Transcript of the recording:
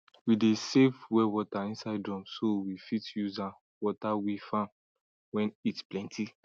we dey save well water inside drum so we fit use am water we farm when heat plenty